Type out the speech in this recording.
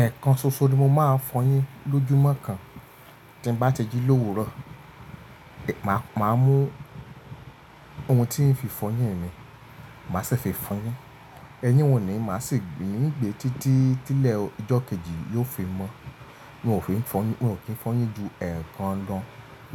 Ẹ̀kan ṣoṣo ni mo máa fọyín lójúmọ́ kan. Tí n bá ti jí l'òwúrò, máà mú ohun tí ń fi fọyín mi, màá sì fi fọyín. Ẹyin wò ní màá sì gbé e nígbé títí tí ilẹ̀ ọjọ́ kejì yóò fi mọ́. N ó ki fọyín ju ẹ́ẹ̀kan lọ